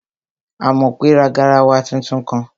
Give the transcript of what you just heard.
Àmọ̀pé ra garawa tuntun kan